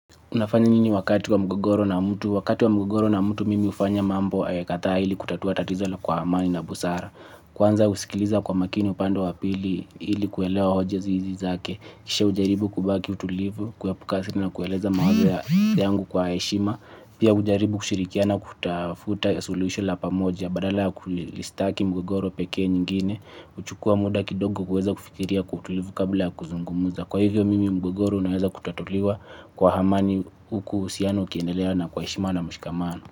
Unafanya nini wakati wa mgogoro na mtu? Wakati wa mgogoro na mtu mimi ufanya mambo ayakatha hili kutatua tatizo la kwa amani na busara. Kwanza usikiliza kwa makini upande wapili hili kuelewa hoja zizi zake. Kisha ujaribu kubaki utulivu, kuyapukasina na kueleza mawea yangu kwa eshima. Pia ujaribu kushirikiana kutafuta ya solution la pamoja. Badala ya kulistaki mgogoro pekee nyingine. Uchukua muda kidogo kueza kufikiria kutulivu kabla ya kuzungumuza. Kwa hivyo mimi mguguru naweza kutatuliwa kwa hamani huku usiano kiendelea na kwa heshima na mshikamano.